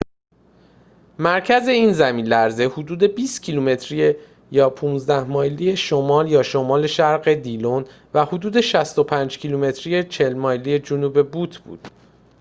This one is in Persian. مرکز این زمین‌لرزه حدود 20 کیلومتری 15 مایلی شمال-شمال شرق دیلون و حدود 65 کیلومتری 40 مایلی جنوب بوت بود